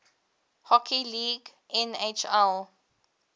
hockey league nhl